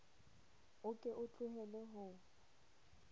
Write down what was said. o ke o tlohele ho